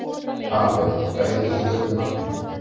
Aðalbjörn, hvað heitir þú fullu nafni?